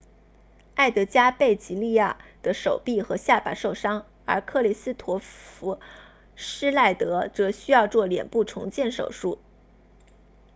埃德加贝吉利亚 edgar veguilla 的手臂和下巴受伤而克里斯托弗施耐德 kristoffer schneider 则需要做脸部重建手术